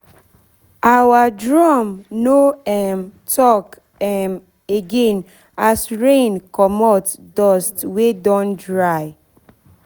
our drum no um talk um again as rain comot dust wey don dry